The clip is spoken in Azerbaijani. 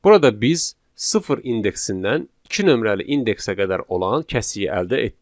Burada biz sıfır indeksindən iki nömrəli indeksə qədər olan kəsiyi əldə etdik.